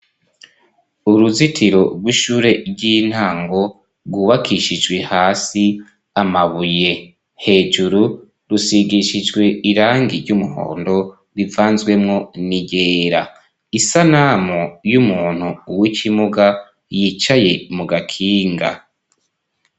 Uruzitiro rw'ishure ry'intango rwubakishijwe hasi amabuye hejuru rusigishijwe irangi ry'umuhondo rivanzwemwo n'iryera. Isanamu y'umuntu w'ikimuga yicaye mu gakinga.